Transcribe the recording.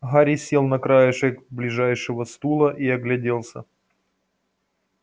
гарри сел на краешек ближайшего стула и огляделся